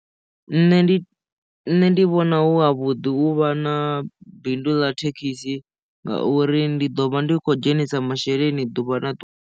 Nṋe ndi nṋe ndi vhona hu ha vhuḓi u vha na bindu ḽa thekhisi ngauri ndi ḓo vha ndi khou dzhenisa masheleni ḓuvha na ḓuvha.